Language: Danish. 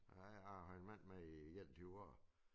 Ja jeg har en mand med i 21 år